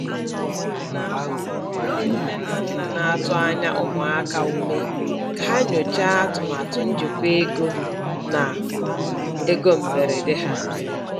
A na-agba ndị nne na nna na-atụ anya ụmụaka ume ka ha nyochaa atụmatụ njikwa ego na ego mberede ha.